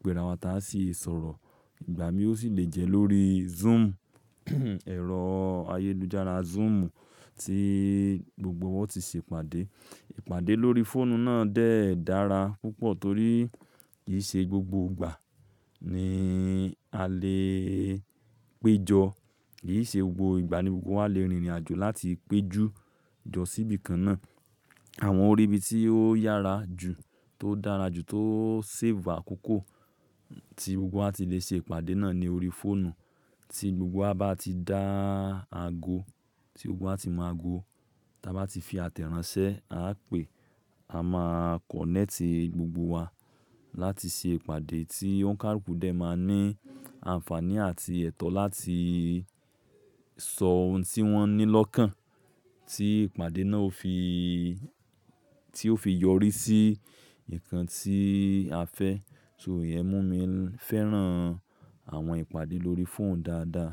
gbéra wa tá a sì sọ̀rọ̀. Ìgbà mìí ó sì lè jẹ́ lórí zúùmù, ẹ̀rọ ayélujára zúùmù tí gbogbo wa o ti ṣe ìpàdé. Ìpàdé lórí fóònù náà de dàrà púpọ̀ torí kì í ṣe gbogbo ìgbà ni a lè péjọ, kì í ṣe gbogbo ìgbà ni gbogbo wa lè rìnrìn àjò láti péjú jọ síbi kan náà. Àwọn orí ibi tí ó yára jù tó dára jù tó sẹ́ẹ̀fù àkókò tí gbogbo wa ti lè ṣe ìpàdé náà ni orí fóònù. Tí gbogbo wa bá ti dá àgọ, tí gbogbo wa tí mọ̀ àgọ, tí a bá ti fi àtẹ̀rànsẹ́, à á pè, a máa kọ̀nẹ́ẹ̀tì gbogbo wa láti ṣe ìpàdé tí òǹkàlúkù dẹ̀ máa ní àǹfààní àti ẹ̀tọ́ láti sọ ohun tí wọ́n ní lọ́kàn. Tí ìpàdé náà ó fi, tí ó fi yọrí sí ǹkan tí a fẹ́. So iye mú mi fẹ́ràn àwọn ìpàdé lórí fóònù dáadáa.